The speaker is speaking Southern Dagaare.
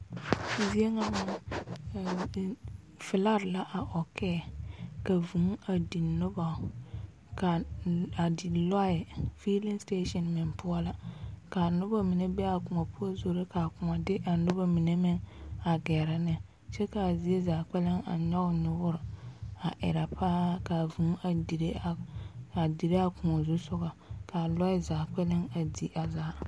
Zie ŋa meŋ, ԑԑm ԑԑm, felaat la a ͻkԑԑ ka vũũ a di noba kaa a di lͻԑ, feeleŋ sitaaseŋ meŋ poͻ la. Kaa noba mine be a kõͻ poͻ zoro kaa kõͻ de a noba mine meŋ a gԑrԑ neŋ kyԑ kaa ziezaa kpԑlem a nyͻge nyoore a erԑ paa kaa vũũ a dire a a dire a kõͻ zu sogͻ. Kaa lͻԑ zaa kpԑlem a di a zaa.